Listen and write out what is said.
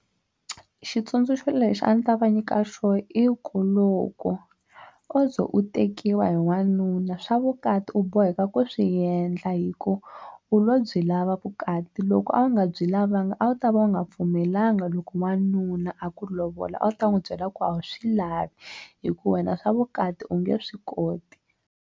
Xitsundzuxo lexi a ndzi ta va nyika xona i ku loko o ze u tekiwa hi wanuna swa vukati u boheka ku swi endla hi ku u lo byi lava vukati loko a wu nga byi lavanga a wu ta va u nga pfumelelanga loko n'wanuna a ku lovola a wu ta n'wi byela ku a wu swi lavi hi ku wena swa vukati u nge swi koti.